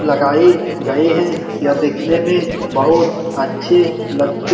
लगाए गए हैं यह देखने में बहुत अच्छे लगते --